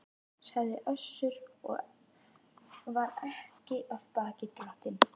sagði Össur og var ekki af baki dottinn.